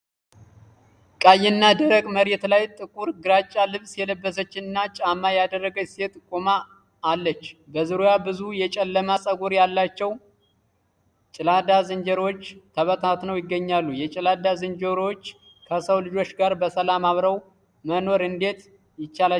ቀይና ደረቅ መሬት ላይ፣ ጥቁር ግራጫ ልብስ የለበሰችና ጫማ ያላደረገች ሴት ቆማ አለለች። በዙሪያዋ ብዙ የጨለማ ፀጉር ያላቸው ጭላዳ ዝንጀሮዎች ተበታትነው ይገኛሉ። የጭላዳ ዝንጀሮዎች ከሰው ልጆች ጋር በሰላም አብረው መኖር እንዴት ይቻላቸዋል?